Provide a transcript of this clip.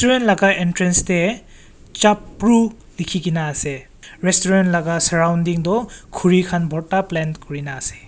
laga entrance dae Chapru lekhikena ase restaurant laga surrounding tuh khuri khan bhorta plant kurena ase.